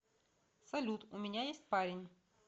салют у меня есть парень